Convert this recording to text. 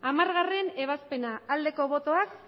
hamargarrena ebazpena emandako botoak